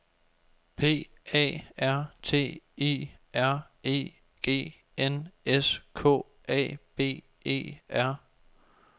P A R T I R E G N S K A B E R